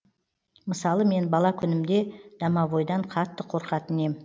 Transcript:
мысалы мен бала күнімде домовойдан қатты қорқатын ем